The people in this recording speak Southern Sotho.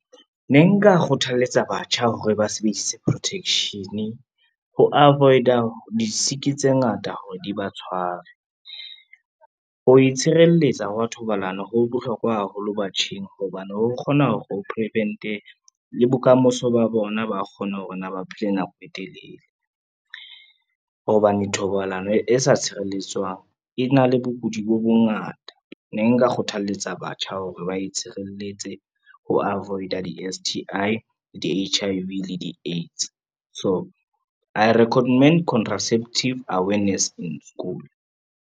Ne nka kgothalletsa batjha hore ba sebedise protection, ho avoid-a di-sick tse ngata hore di ba tshware. Ho itshireletsa hwa thobalano ho bohlokwa haholo batjheng hobane, ho kgona hore o prevent-e le bokamoso ba bona ba kgone hore na ba phele nako e telele, hobane thobalano e sa tshireletswang e na le bokudi bo bongata. Ne nka kgothaletsa batho batjha hore ba itshireletse ho avoid-a di-S_T_I, le di-H_I_V le di-AIDS, so I recommend contraceptive awareness in school.